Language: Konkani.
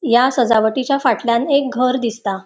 या सजावटीच्या फाटल्यान एक घर दिसता.